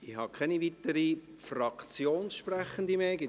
Ich habe keine weiteren Fraktionssprechenden mehr auf der Liste.